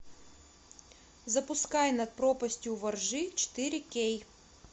запускай над пропастью во ржи четыре кей